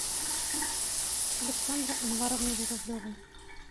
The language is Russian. александры анваровны журавлевой